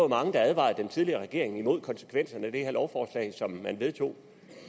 mange der advarede den tidligere regering mod konsekvenserne af det lovforslag som man vedtog